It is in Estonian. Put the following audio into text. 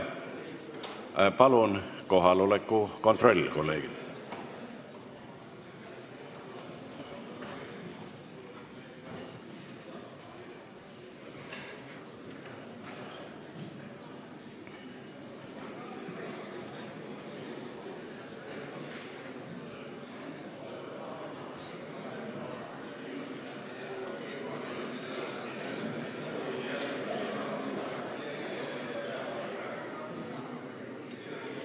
Kolleegid, palun kohaloleku kontroll!